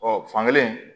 Ɔ fankelen